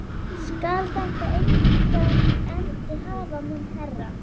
Skal þetta engan endi hafa minn herra?